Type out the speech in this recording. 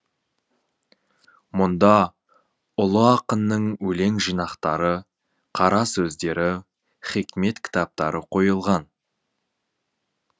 мұнда ұлы ақынның өлең жинақтары қара сөздері хикмет кітаптары қойылған